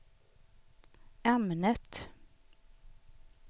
ämnet